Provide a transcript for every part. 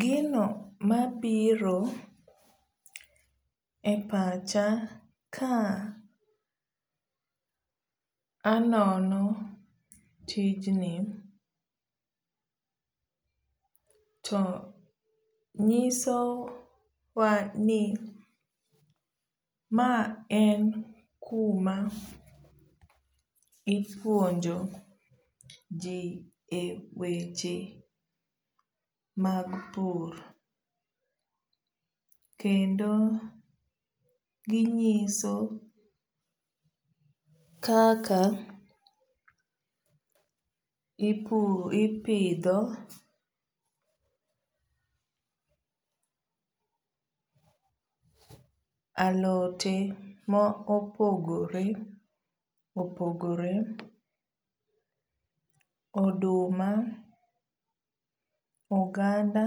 Gino mabiro e pacha ka anono tijni to nyiso wa ni maen kuma ipuonjo jii e weche mag pur kendo ginyiso kaka ipidho alote maopogore opogore, oduma , oganda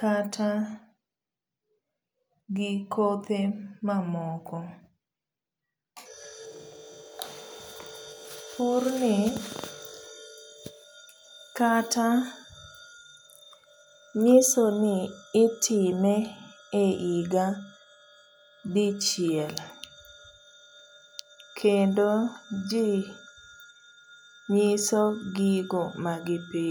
kata gikothe mamoko. purni kata nyisoni itime e higa dichiel kendo jii nyiso gigo magipidho